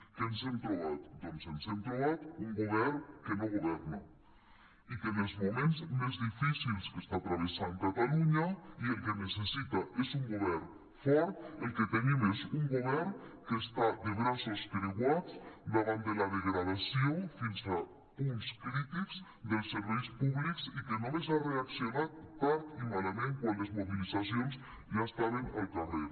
què ens hem trobat doncs ens hem trobat un govern que no governa i en els moments més difícils que està travessant catalunya que el que necessita és un govern fort el que tenim és un govern que està de braços creuats davant de la degradació fins a punts crítics dels serveis públics i que només ha reaccionat tard i malament quan les mobilitzacions ja estaven al carrer